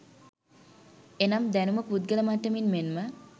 එනම් දැනුම පුද්ගල මට්ටමින් මෙන්ම